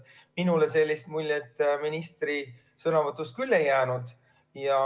Minule küll sellist muljet ministri sõnavõtust ei jäänud.